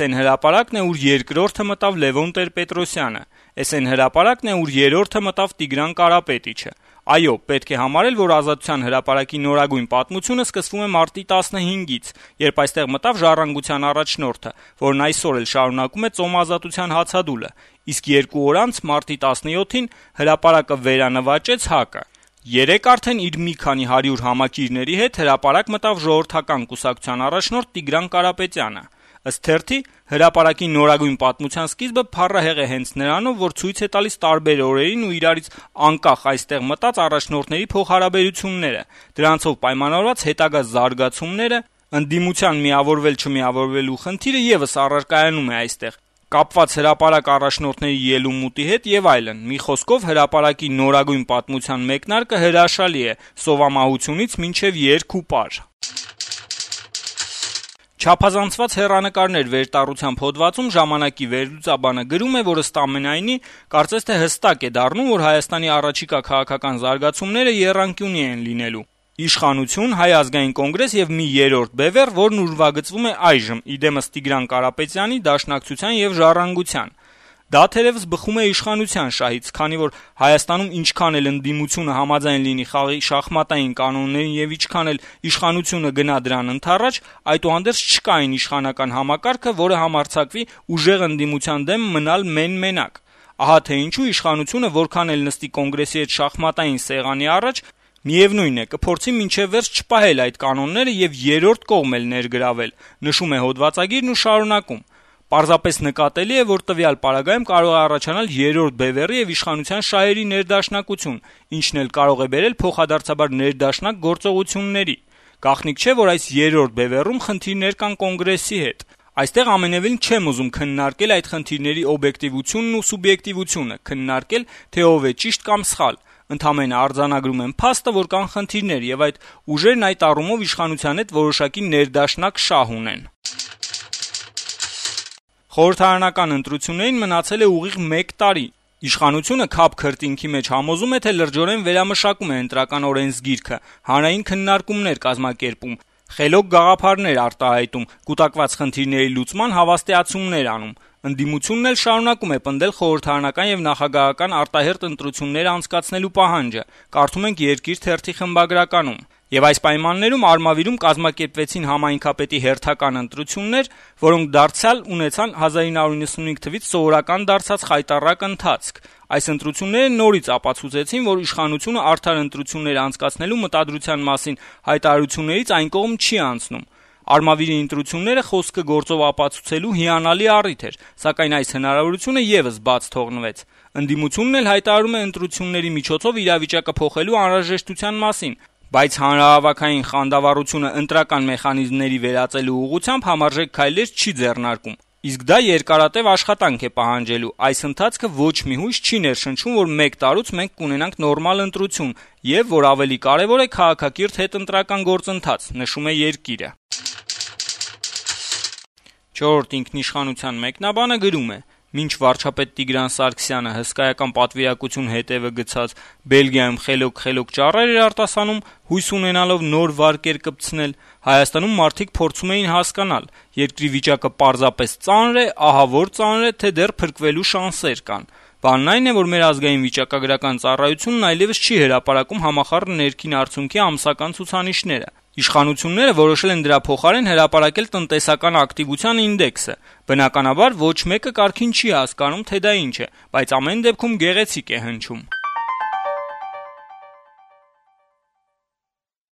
էն հրապարակն է, ուր երկրորդը մտավ Տեր-Պետրոսյանը: Էս էն հրապարակն է, ուր երրորդը մտավ Տիգրան Կարապետիչը... Այո, պետք է համարել, որ Ազատության հրապարակի նորագույն պատմությունը սկսվում է մարտի 15-ից, երբ այստեղ մտավ «Ժառանգության» առաջնորդը, որն այսօր էլ շարունակում է «Ծոմ ազատության» հացադուլը: Իսկ երկու օր անց` մարտի 17-ին, հրապարակը «վերանվաճեց» ՀԱԿ-ը: Երեկ արդեն իր մի քանի հարյուր համակիրների հետ հրապարակ մտավ Ժողովրդական կուսակցության առաջնորդ Տիգրան Կարապետյանը: Հրապարակի նորագույն պատմության սկիզբը փառահեղ է հենց նրանով, որ ցույց է տալիս տարբեր օրերին ու «իրարից անկախ» այստեղ մտած առաջնորդների փոխհարաբերությունները, դրանցով պայմանավորված հետագա «զարգացումները», ընդդիմության միավորվել-չմիավորվելու խնդիրը եւս «առարկայանում» է այստեղ` կապված հրապարակ առաջնորդների ելումուտի հետ եւ այլն: Մի խոսքով, հրապարակի նորագույն պատմության մեկնարկը հրաշալի է` սովամահությունից մինչեւ երգ ու պար»: «Չափազանցված հեռանկարներ» վերտառությամբ հոդվածում «Ժամանակ»-ի վերլուծաբանը գրում է. -« Ըստ ամենայնի, կարծես թե հստակ է դառնում, որ Հայաստանի առաջիկա քաղաքական զարգացումները եռանկյունի են լինելու` իշխանություն, Հայ ազգային կոնգրես եւ մի երրորդ բեւեռ, որն ուրվագծվում է այժմ: Խոսքը Տիգրան Կարապետյան, Դաշնակցություն եւ «Ժառանգություն» բեւեռի մասին է: Դա, թերեւս, բխում է իշխանության շահից, քանի որ Հայաստանում ինչքան էլ ընդդիմությունը համաձայն լինի խաղի շախմատային կանոնների եւ ինչքան էլ իշխանությունը գնա դրան ընդառաջ, այդուհանդերձ չկա այն իշխանական համակարգը, որը համարձակվի ուժեղ ընդդիմության դեմ մնալ մեն-մենակ: Ահա թե ինչու իշխանությունը որքան էլ նստի Կոնգրեսի հետ շախմատային սեղանի առաջ, միեւնույն է, կփորձի մինչեւ վերջ չպահել այդ կանոնները եւ երրորդ կողմ էլ ներգրավել: Պարզապես նկատելի է, որ տվյալ պարագայում կարող է առաջանալ «երրորդ բեւեռի» եւ իշխանության շահի ներդաշնակություն, ինչն էլ կարող է բերել փոխադարձաբար ներդաշնակ գործողությունների: Գաղտնիք չէ, որ այդ երրորդ բեւեռում խնդիրներ կան Կոնգրեսի հետ: Այստեղ ամենեւին չեմ ուզում քննարկել այդ խնդիրների օբյեկտիվությունն ու սուբյեկտիվությունը, քննարկել, թե ով է ճիշտ կամ սխալ: Ընդամենը արձանագրում եմ փաստը, որ կան խնդիրներ, եւ այդ ուժերն այդ առումով իշխանության հետ որոշակիորեն ներդաշնակ շահ ունեն»: «Խորհրդարանական ընտրություններին մնացել է ուղիղ մեկ տարի: Իշխանությունը քափ քրտինքի մեջ համոզում է, թե լրջորեն վերամշակում է Ընտրական օրենսգիրքը, հանրային քննարկումներ կազմակերպում, խելոք գաղափարներ արտահայտում, կուտակված խնդիրների լուծման հավաստիացումներ անում; Ընդդիմությունն էլ շարունակում է պնդել խորհրդարանական եւ նախագահական արտահերթ ընտրություններ անցկացնելու պահանջը», - խմբագրականում գրում է «Երկիր» թերթը` շարունակելով. - «Եվ այս պայմաններում Արմավիրում կազմակերպվեցին համայնքնապետի հերթական ընտրություններ, որոնք դարձյալ ունեցան 1995 թվից սովորական դարձած խայտառակ ընթացք: Այս ընտրությունները նորից ապացուցեցին, որ իշխանությունը արդար ընտրություններ անցկացնելու մտադրության մասին հայտարարություններից այն կողմ չի անցնում: Արմավիրի ընտրությունները խոսքը գործով ապացուցելու հիանալի առիթ էր, սակայն այս հնարավորությունը եւս բաց թողնվեց: Ընդդիմությունն էլ հայտարարում է ընտրությունների միջոցով իրավիճակը փոխելու անհրաժեշտության մասին, բայց հանրահավաքային խանդավառությունը ընտրական մեխանիզմների վերածելու ուղղությամբ համարժեք քայլեր չի ձեռնարկում: Իսկ դա երկարատեւ աշխատանք է պահանջելու: Այս ընթացքը ոչ մի հույս չի ներշնչում, որ մեկ տարուց մենք կունենանք նորմալ ընտրություն եւ, որ ավելի կարեւոր է, քաղաքակիրթ հետընտրական գործընթաց»: «Չորրորդ ինքնիշխանություն» թերթի մեկնաբանը գրում է. - «Մինչ վարչապետ Տիգրան Սարգսյանը, հսկայական պատվիրակություն հետեւը գցած, Բելգիայում խելոք-խելոք ճառեր էր արտասանում` հույս ունենալով նոր վարկեր «կպցնել», Հայաստանում մարդիկ փորձում էին հասկանալ` երկրի վիճակը պարզապես ծա՞նր է, ահավո՞ր ծանր է, թե՞ դեռ փրկվելու շանսեր կան: Բանն այն է, որ մեր ազգային վիճակագրական ծառայությունն այլեւս չի հրապարակում համախառն ներքին արդյունքի ամսական ցուցանիշները: Իշխանությունները որոշել են դրա փոխարեն հրապարակել «տնտեսական ակտիվության ինդեքսը»: Բնականաբար, ոչ մեկը կարգին չի հասկանում, թե դա ինչ է, բայց ամեն դեպքում` գեղեցիկ է հնչում»: